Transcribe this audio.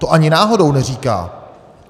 To ani náhodou neříká.